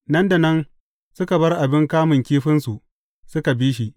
Nan da nan, suka bar abin kamun kifinsu, suka bi shi.